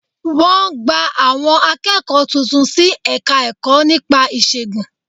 Wọ́n gba àwọn akẹ́kọ̀ọ́ tuntun sí Ẹ̀ka-ẹ̀kọ́ nípa ìṣègùn